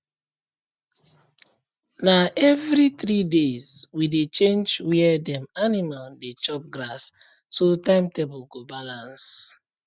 na every three days we dey change where dem animal dey chop grass so timetable go balance